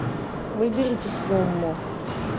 выберите сумму